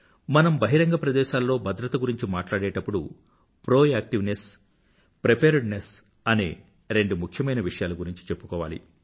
మనం బహిరంగ ప్రదేశాల్లో భద్రత గురించి మాట్లాడేప్పుడు ప్రొయాక్టివ్నెస్ ప్రిపేర్డ్నెస్ అనే రెండు ముఖ్యమైన విషయాల గురించి చెప్పుకోవాలి